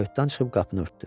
Kayutdan çıxıb qapını örtdü.